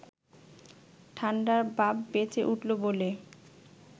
ঠান্ডার বাপ বেঁচে উঠল বলে